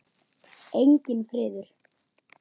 Enginn friður.